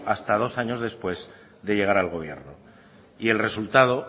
hasta dos años después de llegar al gobierno y el resultado